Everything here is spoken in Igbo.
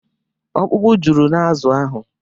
Ọkpụkpụ juru n'azụ ahụ.